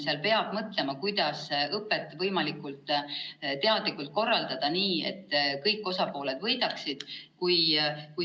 Seal peab mõtlema, kuidas õpet võimalikult teadlikult korraldada nii, et kõik osapooled võidaksid.